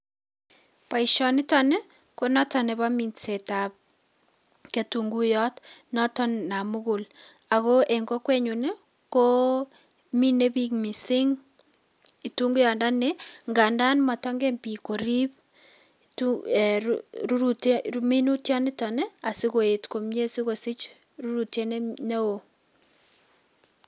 Boisioniton ni konoton nebo minsetab ketunguyot noton namukul. Ago en kokwenyun ko mine biik missing' kitunguyondoni ngandan motonken biik korib um ruruti minutiot niton asikoet komie sikosich rurutiet neo.